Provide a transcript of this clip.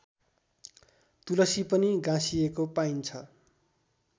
तुलसी पनि गाँसिएको पाइन्छ